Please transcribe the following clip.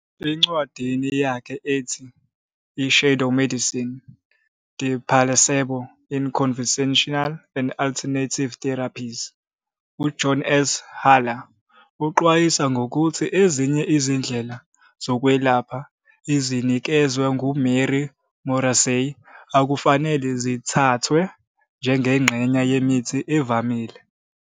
Encwadini yakhe ethi, "I-Shadow Medicine- The Placebo in Conventional and Alternative Therapies," uJohn S. Haller uxwayisa ngokuthi ezinye izindlela zokwelapha, ezinikezwa nguMary Morrissey, akufanele zithathwe njengengxenye yemithi evamile.